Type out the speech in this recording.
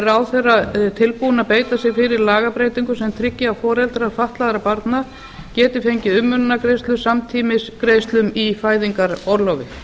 ráðherra tilbúinn að beita sér fyrir lagabreytingu sem tryggi að foreldrar fatlaðra barna geti fengið umönnunargreiðslur samtímis greiðslum í fæðingarorlofi